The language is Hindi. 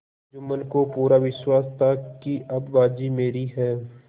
जुम्मन को पूरा विश्वास था कि अब बाजी मेरी है